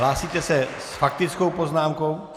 Hlásíte se s faktickou poznámkou?